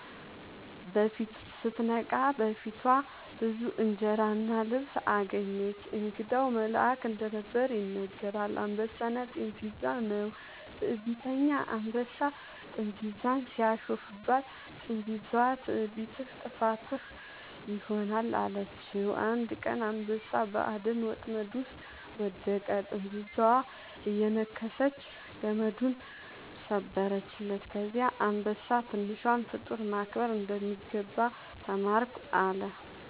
ስትነቃ በፊቷ ብዙ እንጀራ እና ልብስ አገኘች። እንግዳው መልአክ እንደነበር ይነገራል። «አንበሳና ጥንዚዛ» ነው። ትዕቢተኛ አንበሳ ጥንዚዛን ሲያሾፍባት፣ ጥንዚዛዋ «ትዕቢትህ ጥፋትህ ይሆናል» አለችው። አንድ ቀን አንበሳ በአደን ወጥመድ ውስጥ ወደቀ፤ ጥንዚዛዋ እየነከሰች ገመዱን ሰበረችለት። ከዚያ አንበሳ «ትንሿን ፍጡር ማክበር እንደሚገባ ተማርኩ» አለ